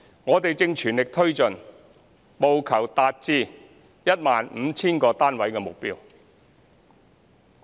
我們正全力推進，務求達至 15,000 個單位的目標。